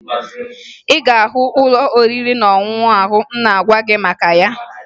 Ị ga-ahụ ụlọ oriri na ọṅụṅụ ahụ m na-agwa gị maka ya